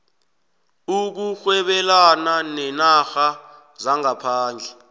ukurhwebelana neenarha zangaphandle